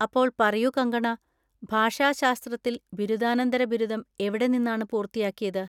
അപ്പോൾ പറയൂ കങ്കണ, ഭാഷാശാസ്ത്രത്തിൽ ബിരുദാനന്തര ബിരുദം എവിടെ നിന്നാണ് പൂർത്തിയാക്കിയത്?